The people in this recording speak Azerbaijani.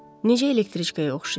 Necə elektriçkaya oxşayır.